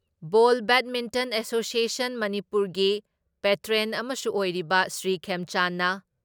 ꯕꯣꯜ badminton association ꯃꯅꯤꯄꯨꯔꯒꯤ patron ꯑꯃꯁꯨ ꯑꯣꯏꯔꯤꯕ ꯁ꯭ꯔꯤ ꯈꯦꯝꯆꯥꯟꯅ